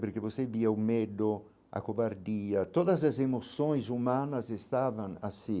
Porque você via o medo, a covardia, todas as emoções humanas estavam assim.